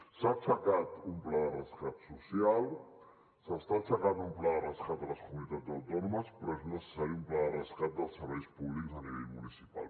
s’ha aixecat un pla de rescat social s’està aixecant un pla de rescat a les comunitats autònomes però és necessari un pla de rescat dels serveis públics a nivell municipal